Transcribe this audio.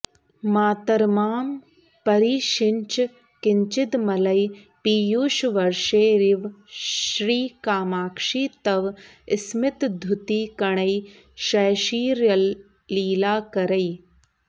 मातर्मां परिषिञ्च किंचिदमलैः पीयूषवर्षैरिव श्रीकामाक्षि तव स्मितद्युतिकणैः शैशिर्यलीलाकरैः